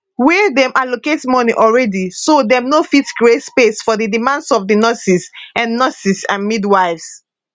wia dem allocate moni already so dem no fit create space for di demands of di nurses and nurses and midwives